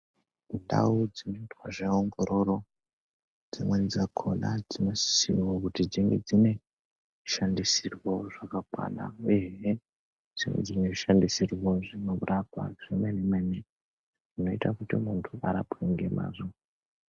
Ndau dzinoite zveongororo dzimweni dzakona dzinosisire wo kuti dzinge dzine zvishandisirwo zvakakwana zvemenemene, nezvekurapwa zvemenemene, zvinoita kuti muntu arapwe ngemazvo.